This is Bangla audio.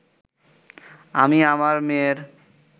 আমি আমার মেয়ের